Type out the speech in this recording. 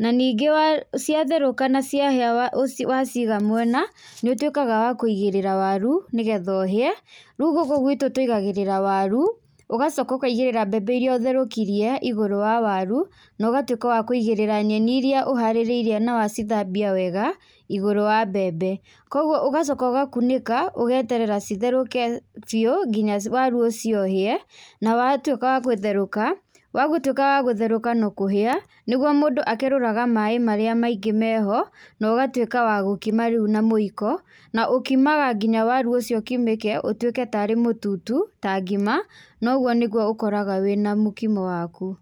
naningĩ wa ciatherũka na ciahĩa waciga mwena nĩũtwĩkaga wa kũigĩrĩra waru nĩgetha uhĩe rĩu gũkũ gwitũ tũigagĩrĩra waru ũgacoka ũkaigĩrĩra mbebe iria ũtherũkirie igũrũ wa waru nogatũĩka wa kũigĩrĩra nyeni iria ũharĩrĩirie na wacithambia wega na ugatwĩka wa kũigĩrĩra nyeni iria ũharĩrĩirie na wacithambia wega igũrũ wa mbebe, kwoguo ũgacoka ũgakunĩka ũgeterera itherũke biũ nginya waru ũcio ũhĩe, na watwĩka wa gũtherũka wagũtwĩka wa gũtherũka na kũhĩa, nĩguo mũndũ akerũraga maĩ marĩa mainĩ meho nogatwĩka wa gũkima rĩu na mũiko na ũkimaga nginya waru ũcio ũkimĩke ũtwĩke tarĩ mũtutu tarĩ ngima noguo nĩguo ũkoraga wĩna mũkimo waku.